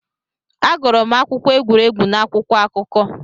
Agụrụ m akụkọ egwuregwu n'akwụkwọ akụkọ.